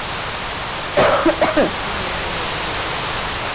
কি জানতে চাইছেন আপনি?